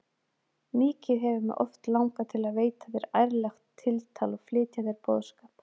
Mikið hefur mig oft langað til að veita þér ærlegt tiltal og flytja þér boðskap.